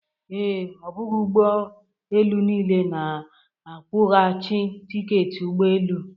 Ee, ọ bụghị ụgbọ elu niile na-akwụghachi tiketi ụgbọ elu.